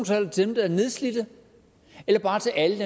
til dem der er nedslidte eller bare til alle